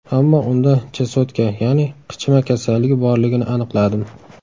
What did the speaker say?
Ammo unda chesotka, ya’ni qichima kasalligi borligini aniqladim.